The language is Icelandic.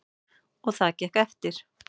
Og það gekk eftir.